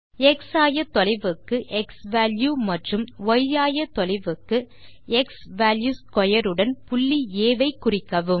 X ஆயத்தொலைவுக்கு x value மற்றும் ய் ஆயத்தொலைவுக்கு xValue2 உடன் புள்ளி ஆ ஐ குறிக்கவும்